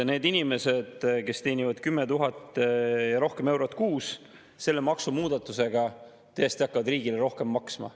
Need inimesed, kes teenivad 10 000 ja rohkem eurot kuus, hakkavad tõesti selle maksumuudatusega riigile rohkem maksma.